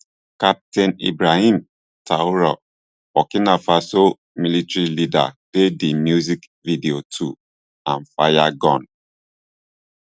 captain ibrahim traor burkina faso military leader dey di music video too and fire gun